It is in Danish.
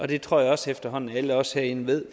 det tror jeg også efterhånden alle os herinde ved